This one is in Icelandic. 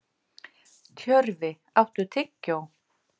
Tjörfi, áttu tyggjó?